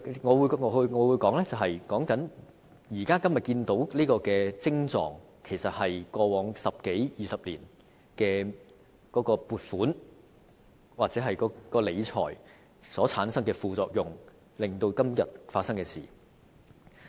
我們現時看到的徵狀，其實是過往十多二十年的撥款或理財模式所產生的副作用，導致今天出現這種情況。